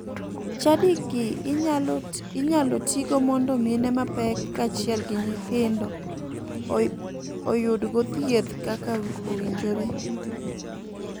Chadigi inyalo tigo mondo mine mapek kachiel gi nyithindo oyudgo thieth kaka owinjore.